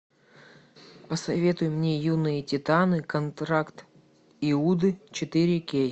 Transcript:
посоветуй мне юные титаны контракт иуды четыре кей